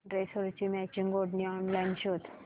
ड्रेसवरची मॅचिंग ओढणी ऑनलाइन शोध